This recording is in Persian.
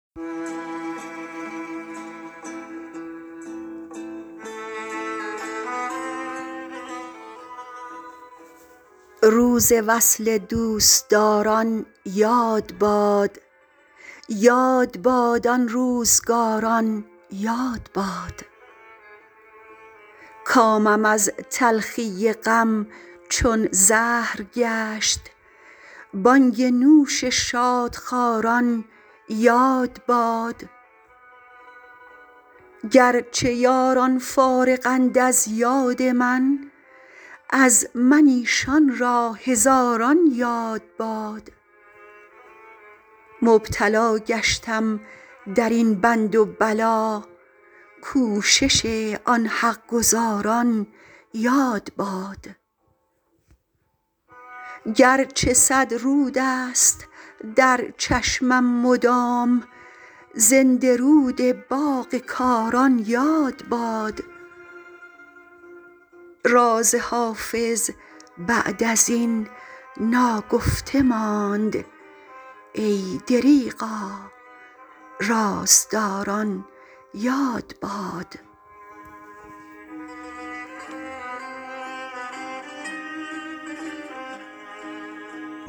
روز وصل دوستداران یاد باد یاد باد آن روزگاران یاد باد کامم از تلخی غم چون زهر گشت بانگ نوش شادخواران یاد باد گر چه یاران فارغند از یاد من از من ایشان را هزاران یاد باد مبتلا گشتم در این بند و بلا کوشش آن حق گزاران یاد باد گر چه صد رود است در چشمم مدام زنده رود باغ کاران یاد باد راز حافظ بعد از این ناگفته ماند ای دریغا رازداران یاد باد